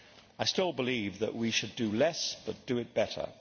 I still believe that we should do less but do it better.